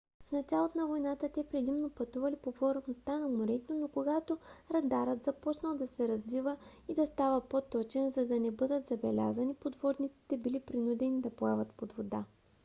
в началото на войната те предимно пътували по повърхността на морето но когато радарът започнал да се развива и да става по-точен за да не бъдат забелязани подводниците били принудени да плават под вода